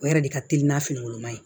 O yɛrɛ de ka teli n'a fini woloma ye